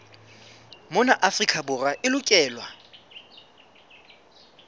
mona afrika borwa e lokelwa